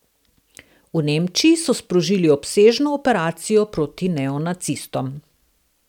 V Nemčiji so sprožili obsežno operacijo proti neonacistom.